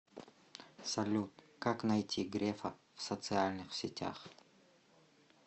салют как найти грефа в социальных сетях